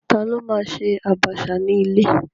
Ta ló ma ṣe àbàṣà ní ilé?